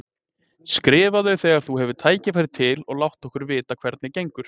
Skrifaðu þegar þú hefur tækifæri til og láttu okkur vita hvernig gengur.